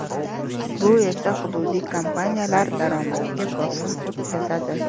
Bu esa hududiy kompaniyalar daromadiga bosim o‘tkazadi.